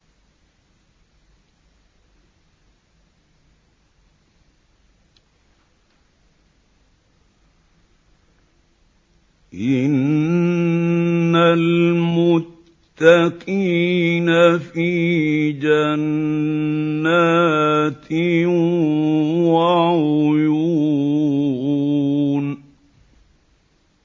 إِنَّ الْمُتَّقِينَ فِي جَنَّاتٍ وَعُيُونٍ